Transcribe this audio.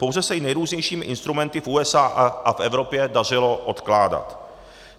Pouze se ji nejrůznějšími instrumenty v USA a v Evropě dařilo odkládat.